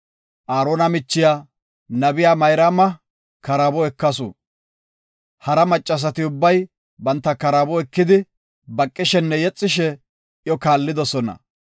Aarona michiya, nabiya Mayraama karaabo ekasu. Hara maccasati ubbay banta karaabo ekidi baqishenne yexishe iyo kaallidosona.